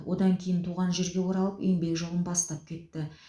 одан кейін туған жерге оралып еңбек жолын бастап кетті